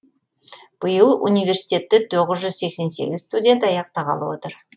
биыл университетті тоғыз жүз сексен сегіз студент аяқтағалы отыр